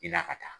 I la ka taa